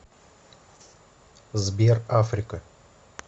сбер африка